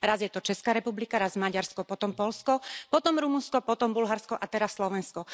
Raz je to Česká republika, raz Maďarsko, potom Poľsko, potom Rumunsko, potom Bulharsko a teraz Slovensko.